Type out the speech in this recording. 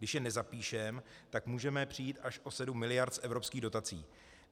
Když je nezapíšeme, tak můžeme přijít až o 7 miliard z evropských dotací.